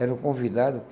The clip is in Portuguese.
Era o convidado.